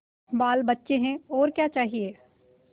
बालबच्चे हैं और क्या चाहिए